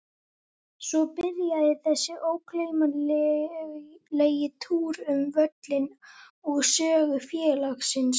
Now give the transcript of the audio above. Svo byrjaði þessi ógleymanlegi túr um völlinn og sögu félagsins.